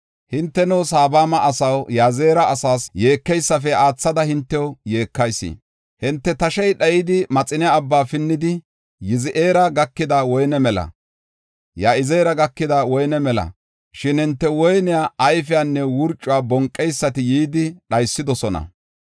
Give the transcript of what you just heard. Hinteno, Sebama asaw, Ya7izeera asaas yeekeysafe aathada hintew yeekayis. Hinte tashey daayidi, Maxine Abbaa pinnidi, Ya7izeera gakida woyne mela; shin hinte woyne ayfiyanne wurcuwa bonqeysati yidi dhaysidosona.